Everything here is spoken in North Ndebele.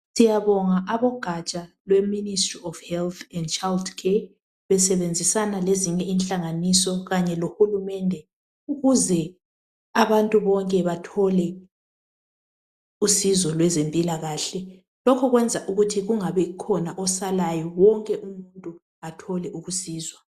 siyabonga abogaja lwe ministry of health and child care besebenzisana lezinye inhlnganiso kanyelo hulumende ukuze abantu bonke bathole usizo lwezempilakahle lokho kuyenza ukuthi kungabi khona osalayo wonke umuntu athole usizo